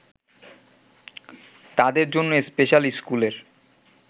তাদের জন্য স্পেশাল স্কুলের